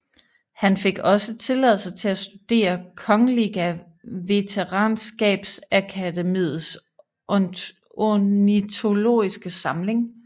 Han fik også tilladelse til at studere Kungliga Vetenskapsakademiens ornitologiske samling